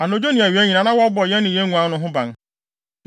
Anadwo ne awia nyinaa, na wɔbɔ yɛn ne nguan no ho ban.